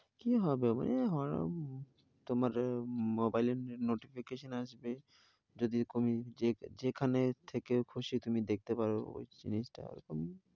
কি হবে আবার? তোমার mobile এ notification আসবে। যদি যে যেখানে থেকে খুশি তুমি দেখতে পারো।